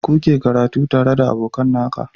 Kuke karatu tare da aboka Nan ka